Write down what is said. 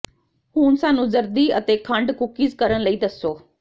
ਹੁਣ ਸਾਨੂੰ ਜ਼ਰਦੀ ਅਤੇ ਖੰਡ ਕੂਕੀਜ਼ ਕਰਨ ਲਈ ਦੱਸੋ